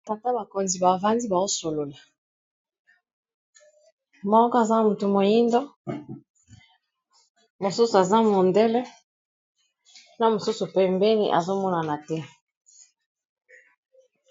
Ba tata bakonzi bavandi baosolola moko aza moto moyindo mosusu aza mondele na mosusu pembeni azomonana te.